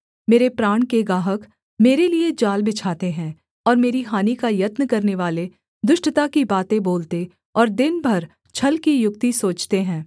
मेरे प्राण के गाहक मेरे लिये जाल बिछाते हैं और मेरी हानि का यत्न करनेवाले दुष्टता की बातें बोलते और दिन भर छल की युक्ति सोचते हैं